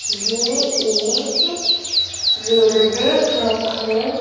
ये एक railway track है।